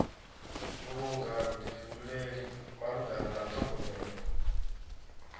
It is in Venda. vhulunga vhuḓifhinduleli malugana na ṱhogomelo